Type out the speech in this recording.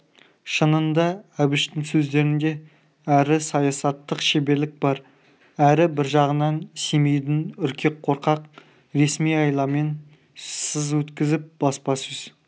шынында әбіштің сөздерінде әрі саясаттық шеберлік бар әрі бір жағынан семейдің үркек қорқақ ресми айламен сыз өткізіп баспасөз